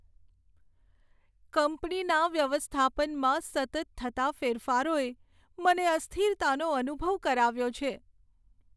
કંપનીના વ્યવસ્થાપનમાં સતત થતા ફેરફારોએ મને અસ્થિરતાનો અનુભવ કરાવ્યો છે.